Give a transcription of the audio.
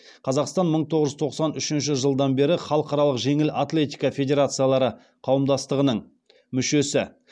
қазақстан мың тоғыз жүз тоқсан үшінші жылдан бері халықаралық жеңіл атлетика федерациялары қауымдастығының мүшесі